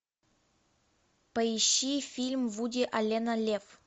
поищи фильм вуди аллена лев